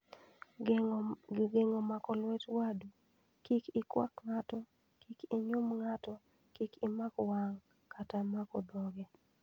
Geng'o mako lwet wadu, Kik ikwak ng'ato , kik inyum ng'ato, kik imak wang' , kata mako dhoge.